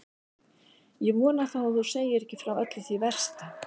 Ég vona þá að þú segir ekki frá öllu því versta.